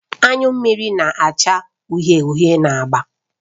Anyụ mmiri na-acha uhie uhie na agba